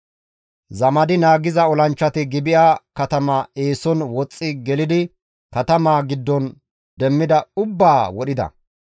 Zamadi naagiza olanchchati Gibi7a katama eeson woxxi gelidi katamaa giddon demmida ubbaa wodhida.